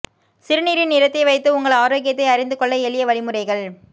சிறுநீரின் நிறத்தை வைத்து உங்கள் ஆரோக்கியத்தை அறிந்து கொள்ள எளிய வழிமுறைகள்